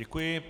Děkuji.